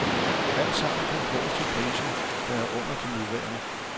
Alt sammen kan fås til priser, der er under de nuværende.